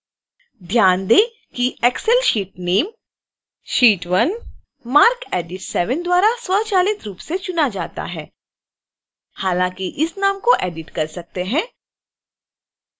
ध्यान दें excel sheet name: sheet1 marcedit 7 द्वारा स्वचालित रूप से चुना जाता है